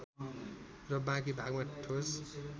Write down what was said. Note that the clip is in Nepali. र बाँकी भागमा ठोस